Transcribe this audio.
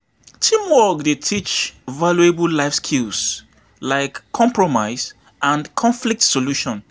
Teamwork dey teach valuable life skills like compromise and conflict resolution.